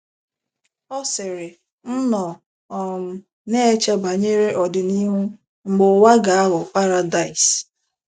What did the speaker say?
Ọ sịrị: “ M nọ um na - eche banyere ọdịnihu, mgbe ụwa ga - aghọ paradaịs.